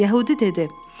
Yəhudi dedi: